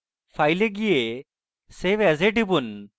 file এ যান এবং save as এ টিপুন